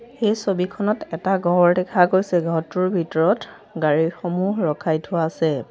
এই ছবিখনত এটা ঘৰ দেখা গৈছে ঘৰটোৰ ভিতৰত গাড়ীসমূহ ৰখাই থোৱা আছে।